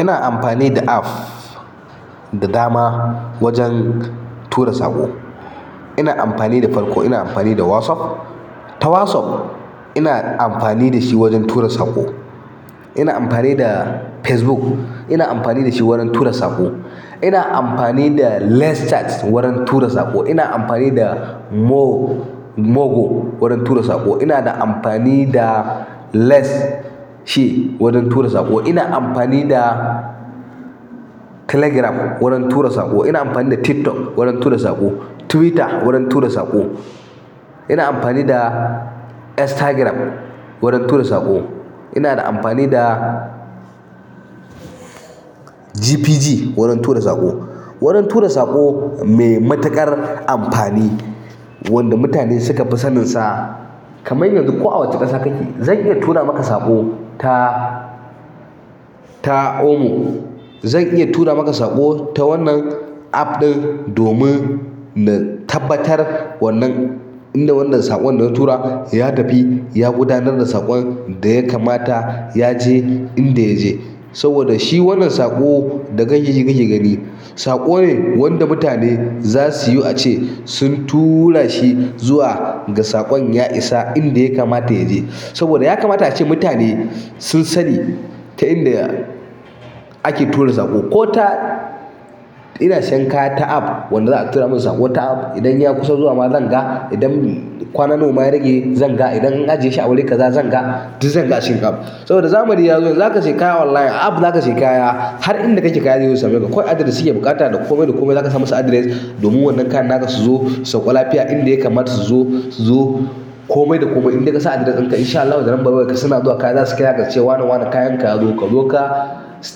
Ina amfani da app da dama wajen tura saƙo. Ina amfani da farko ina amfani da WhatsApp. Ta WhatsApp ina amfani da shi wajen tura saƙo. Ina amfani da Facebook ina amfani da shi wajen tura saƙo. Ina amfani da Less Chat wurin tura saƙo. Ina amfani da Mo-- Mo Go wurin tura saƙo. Ina da amfani da Less shi wurin tura saƙo. Ina amfani da Telegram wurin tura saƙo. Ina amfani da TikTok wurin tura saƙo. Twitter wurin tura saƙo. Ina amfani da Instagram wurin tura saƙo. Ina da amfani da GPG wurin tura saƙo. Wurin tura saƙo mai matuƙar amfani wanda mutane suka fi saninsa. Kamai yanzu ko a wace ƙasa kake zan iya tura maka saƙo ta, ta Omo. Zan iya tura maka saƙo ta wannan app ɗin domin na tabbatar wannan, inda wannan saƙon da na tura ya tafi ya gudanar da saƙon da ya kamata ya je inda ya je. Saboda shi wannan saƙo da kake ji kake gani saƙo ne wanda mutane za su yi a ce sun tura shi zuwa ga saƙon ya isa inda ya kamata ya je. Saboda ya kamata ace mutane sun sani ta inda ake tura saƙo. Ko ta, ina siyan kaya ta app wanda za a tura min saƙo ta app idan ya kusa zuwa ma zan ga. Idan kwana nawa ma ya rage zan ga, idan an ajiye shi a wuri ƙaza zan ga. Duk zanga a cikin app. Saboda zamani ya zo yanzu za ka sayi kaya online, a app za ka sayi kaya har inda kake kaya zai zo ya same ka. Kawai adiress suke buƙata da komai da komai za ka sa musu adiress domin wannan kayan ka su zo. Sauka lafiya inda ya kamata su zo, su zo. Komai da komai indai ka sa adiress ɗinka in sha Allah da lambar wayarka, suna zuwa kaya za su kira ka su ce wane-wane kayanka yazo, ka zo ka su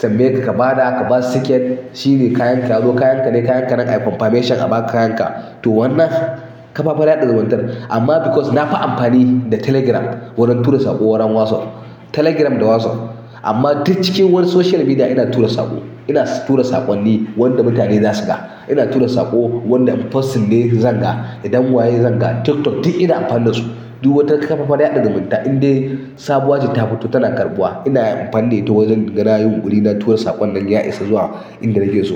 tambayeka ka ba da, ka ba su siket shi ne kayanka yazo kayanka ne kayanka ne ayi confirmation a ba kayanka. To wannan kafafen yaɗa zumuntar, amma because na fi amfani da Telegram wurin tura saƙo, wurin WhatsApp. Telegram da WhatsApp amma duk cikin wani social media ina tura saƙo. Ina tura saƙonni wanda mutane za su gani. Ina tura saƙo wanda posting ne zan gani, idan wa ya yi zan gani. TikTok duk ina amfani da su. Duk wata ƙafar yaɗa zumunta indai sabuwar jita fito tana ƙarbuwa ina amfani da ita wurin ganin na yi yunƙuri na tura saƙon nan ya isa zuwa inda nake so.